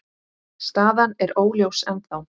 Staðan er óljós ennþá.